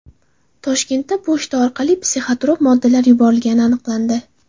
Toshkentda pochta orqali psixotrop moddalar yuborilgani aniqlandi.